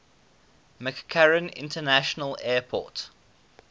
mccarran international airport